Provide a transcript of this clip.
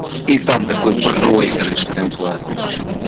и там такой проигрыш прям классный пошёл